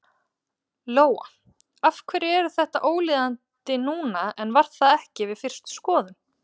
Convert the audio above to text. Lóa: Af hverju er þetta ólíðandi núna en var það ekki við fyrstu skoðun?